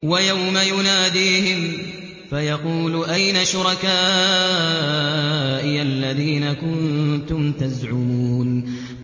وَيَوْمَ يُنَادِيهِمْ فَيَقُولُ أَيْنَ شُرَكَائِيَ الَّذِينَ كُنتُمْ تَزْعُمُونَ